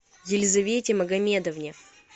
елизавете магомедовне